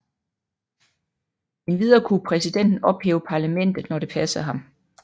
Endvidere kunne præsidenten ophæve parlamentet når det passede ham